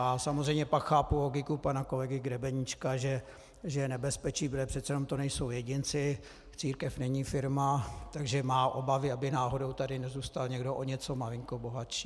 A samozřejmě pak chápu logiku pana kolegy Grebeníčka, že je nebezpečí, protože přece jenom to nejsou jedinci, církev není firma, takže má obavy, aby náhodou tady nezůstal někdo o něco malinko bohatší.